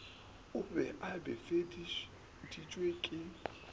o be a befeditšwe ke